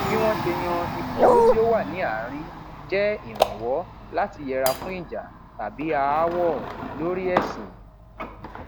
bí wón ṣe yan ibùdó tí ó wà ní àárín jẹ ìrànwọ láti yẹra fún ìjà tàbí aáwọ lórí ẹsìn